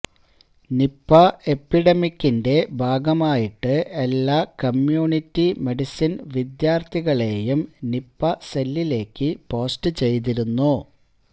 Nipah എപിഡെമികിന്റെ ഭാഗമായിട്ട് എല്ലാ കമ്മ്യൂണിറ്റി മെഡിസിന് വിദ്യാര്ത്ഥികളേയും നിപാ സെല്ലിലേക്ക് പോസ്റ്റ് ചെയ്തിരുന്നു